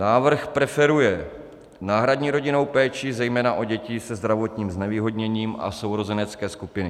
Návrh preferuje náhradní rodinnou péči zejména o děti se zdravotním znevýhodněním a sourozenecké skupiny.